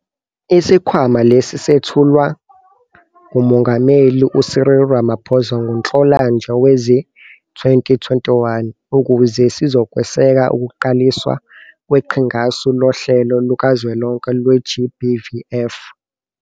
Isikhwama lesi sethulwa nguMongameli u-Cyril Ramaphosa ngoNhlolanja wezi-2021, ukuze sizokweseka ukuqaliswa kweQhingasu Lohlelo Lukazwelonke lwe-GBVF.